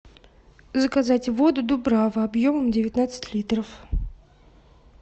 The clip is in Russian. заказать воду дубрава объемом девятнадцать литров